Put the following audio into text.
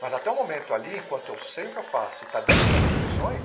Mas até o momento ali, enquanto eu sei o que eu faço e está dentro das minhas atribuições,